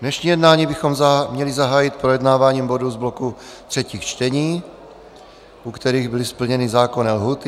Dnešní jednání bychom měli zahájit projednáváním bodů z bloku třetích čtení, u kterých byly splněny zákonné lhůty.